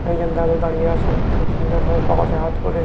একজন দাদা দাঁড়িয়ে আছেন। খুব সুন্দর ভাবে পোকোট হাত ভোরে।